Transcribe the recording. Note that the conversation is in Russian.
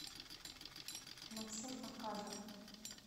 максим оказов